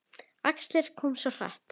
Æxlið kom svo hratt.